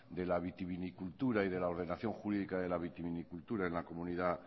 de la vitivinicultura y de la ordenación jurídica de la vitivinicultura en la comunidad